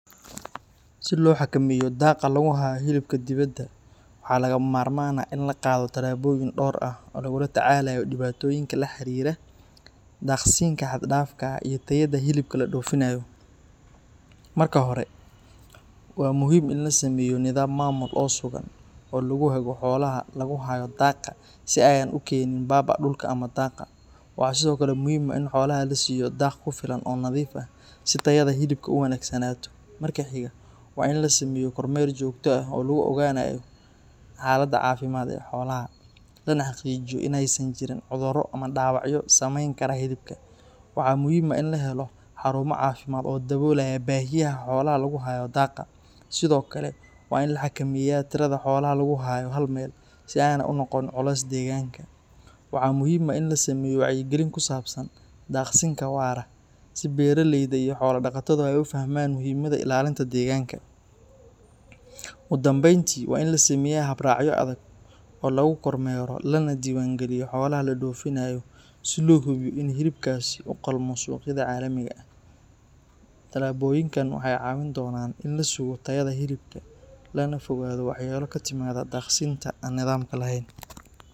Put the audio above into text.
Si loo xakameeyo daaqa lagu hayo hilibka dibadda, waxaa lagama maarmaan ah in la qaado tallaabooyin dhowr ah oo lagula tacaalayo dhibaatooyinka la xiriira daaqsinka xad dhaafka ah iyo tayada hilibka la dhoofinayo. Marka hore, waa muhiim in la sameeyo nidaam maamul oo sugan oo lagu hago xoolaha lagu hayo daaqa si aanay u keenin baaba’a dhulka ama daaqa. Waxaa sidoo kale muhiim ah in xoolaha la siiyo daaq ku filan oo nadiif ah si tayada hilibku u wanaagsanaato. Marka xiga, waa in la sameeyo kormeer joogto ah oo lagu ogaanayo xaaladda caafimaad ee xoolaha, lana xaqiijiyo in aysan jirin cudurro ama dhaawacyo saameyn kara hilibka. Waxaa muhiim ah in la helo xarumo caafimaad oo daboolaya baahiyaha xoolaha lagu hayo daaqa. Sidoo kale, waa in la xakameeyaa tirada xoolaha lagu hayo hal meel si aanay u noqon culays deegaanka. Waxaa muhiim ah in la sameeyo wacyigelin ku saabsan daaqsinka waara si beeralayda iyo xoolo dhaqatadu ay u fahmaan muhiimadda ilaalinta deegaanka. Ugu dambeyntii, waa in la sameeyaa hab-raacyo adag oo lagu kormeero lana diiwaan geliyo xoolaha la dhoofinayo si loo hubiyo in hilibkaasi u qalmo suuqyada caalamiga ah. Tallaabooyinkan waxay caawin doonaan in la sugo tayada hilibka lagana fogaado waxyeello ka timaadda daaqsinka aan nidaamka lahayn.